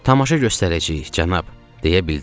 Tamaşa göstərəcəyik, cənab, deyə bildim.